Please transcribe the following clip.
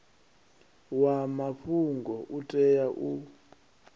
wa mafhungo u tea u